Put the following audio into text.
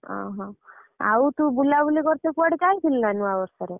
ଓହୋ ଆଉ ତୁ ବୁଲାବୁଲି କରତେ କୁଆଡେ ଯାଇଥିଲୁ ନାଁ ନୂଆବର୍ଷ ରେ?